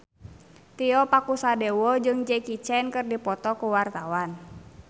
Tio Pakusadewo jeung Jackie Chan keur dipoto ku wartawan